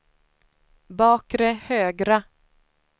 bakre högra